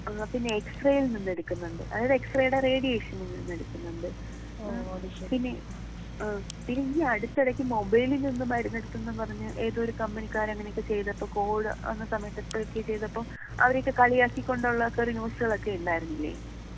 ആഹ് പിന്നെ എക്സ് റേയിൽ നിന്ന് എടുക്കുന്നുണ്ട്.അതായത് എക്സ് റേയുടെ റേഡിയേഷനിൽ നിന്ന് എടുക്കുന്നുണ്ട്. പിന്നെ ആഹ് പിന്നെ ഈ അടുത്തിടക്ക് മൊബൈലിൽ നിന്നും മരുന്ന് എടുത്തെന്നും പറഞ്ഞ് ഏതോ ഒരു കമ്പനിക്കാര് അങ്ങനെ ഒക്കെ ചെയ്തപ്പൊ കോവിഡ് വന്ന സമയത്ത് നോട്ട്‌ ക്ലിയർ ചെയ്തപ്പം അവരെയൊക്കെ കളിയാക്കി കൊണ്ടുള്ള ഒക്കെയുള്ള ഒരു ന്യൂസുകളൊക്കെ ഉണ്ടായിരുന്നില്ലേ?